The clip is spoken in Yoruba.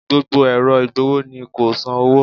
Gbogbo ẹ̀rọ ìgbọ̀wọ́ ni kò san owó